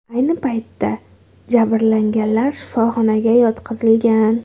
Ayni paytda jabrlanganlar shifoxonaga yotqizilgan.